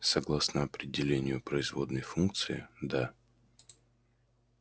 согласно определению производной функции да